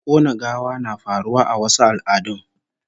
Kona gawa na faruwa a wasu al'adun